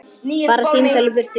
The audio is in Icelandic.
Bara símtal í burtu.